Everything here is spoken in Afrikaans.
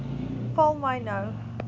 val my nou